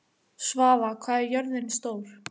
Svava, hvað er jörðin stór?